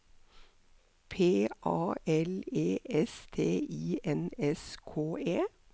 P A L E S T I N S K E